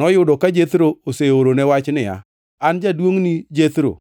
Noyudo ka Jethro oseorone wach niya, “An, jaduongʼni Jethro